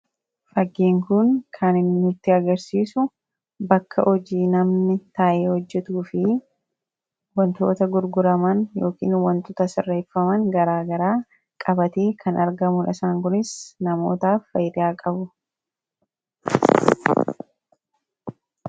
faggiin kun kanhinnutti agarsiisu bakka hojii namni taa'ee hojjetu fi wantoota gurguraman yookin wantoota sarreeffaman garaa garaa qabatee kan arga mulisaan kunis namoota faydiyaa qabu